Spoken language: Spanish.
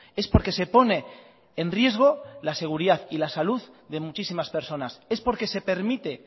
es porque se pone en riesgo la seguridad y la salud de muchísimas personas es porque se permite